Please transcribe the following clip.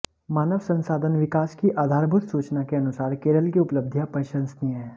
मानव संसाधन विकास की आधारभूत सूचना के अनुसार केरल की उपलब्धियाँ प्रशंसनीय है